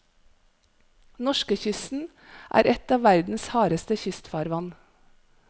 Norskekysten er et av verdens hardeste kystfarvann.